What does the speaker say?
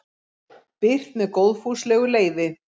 Birt með góðfúslegu leyfi.